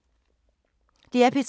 DR P3